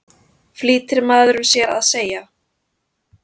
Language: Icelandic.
flýtir maðurinn sér að segja.